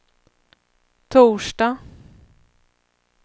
torsdag